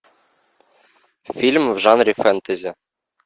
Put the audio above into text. фильм в жанре фэнтези